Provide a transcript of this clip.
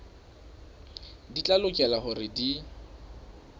di tla lokela hore di